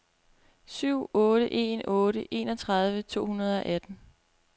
syv otte en otte enogtredive to hundrede og atten